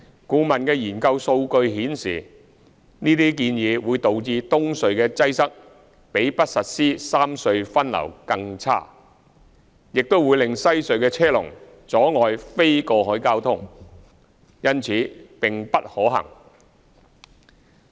顧問的研究數據顯示，這些建議會導致東隧的擠塞比不實施三隧分流更差，亦會令西隧的車龍阻礙非過海交通，因此並不可行。